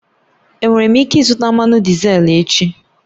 Enwere m ike ịzụta mmanụ dizel echi?